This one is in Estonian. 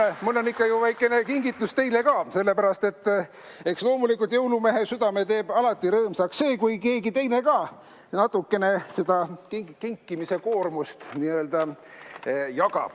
Aga mul on ikka väike kingitus teile ka, sest eks loomulikult jõulumehe südame teeb alati rõõmsaks see, kui keegi teine ka natukene seda kinkimise koormust n-ö jagab.